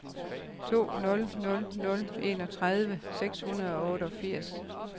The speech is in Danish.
to nul nul nul enogtredive seks hundrede og otteogfirs